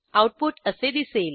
output असे दिसेल